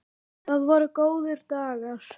Það voru góðir dagar.